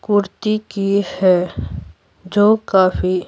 कुर्ती की है जो काफी--